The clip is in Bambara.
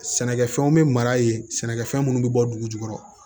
Sɛnɛkɛfɛnw bɛ mara yen sɛnɛkɛfɛn minnu bɛ bɔ dugu jukɔrɔ